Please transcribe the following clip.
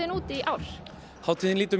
út í ár hátíðn lítur